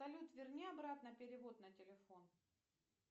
салют верни обратно перевод на телефон